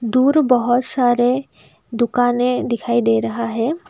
दूर बहोत सारे दुकानें दिखाई दे रहा है।